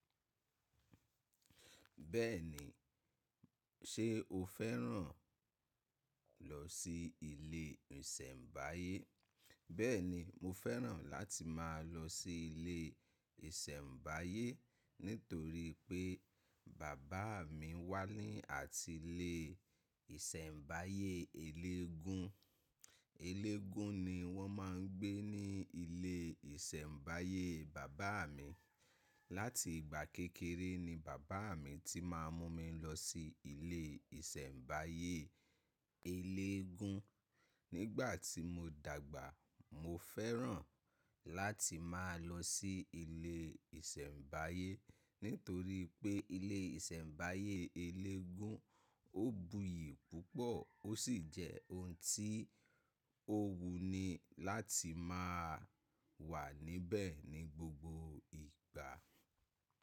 Bẹ́ẹ̀ni, ṣe o fẹ́ràn ko lọ sí ilé ìsẹ̀mbáyé? Bẹ́ẹ̀ni, mo fẹ́ràn láti máa lọ sí ilé ìsẹ̀mbáyé nítorí pé bàbá mi wà ní àti ilé ìsẹ̀mbáyé eléégún. Eléégún ni wọ́n ma ń gbé ní ilé ìsẹ̀mbáyé bàbá mi. Láti ìgbà kékeré ni bàbá mi ti máa ń mú mi lọ sí ilé ìsẹ̀mbáyé eléégún. Nígbà tí mo dàgbà, mo fẹ́ràn láti máa lọ sí ilé ìsẹ̀mbáyé nítorí pé ilé ìsẹ̀mbáyé eléégún ó buyì púpọ̀ ó sì jẹ́ ohun tí ó wuni láti máa wà níbẹ̀ ní gbogbo ìgbà.